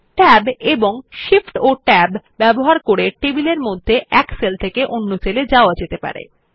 tab এবং Shift Tab ব্যবহার করে টেবিলের মধ্যে এক সেল থেকে অন্য সেল এ যাওয়া যেতে পারে